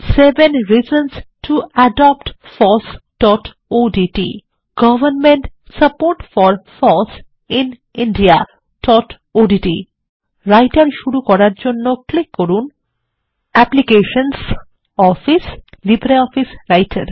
seven reasons to adopt FOSSodt government support for foss in indiaওডিটি writer শুরু করার জন্য ক্লিক করুন অ্যাপ্লিকেশনস অফিস লিব্রিঅফিস রাইটের